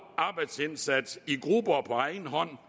arbejdsindsats i grupper og på egen hånd